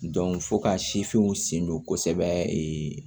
fo ka sifinw sen don kosɛbɛ